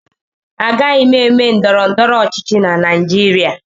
Agaghị m eme ndọrọndọrọ ọchịchị na Naịjirịa